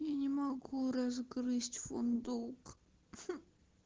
я могу разгрызть фундук